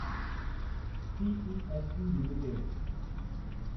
CESC limited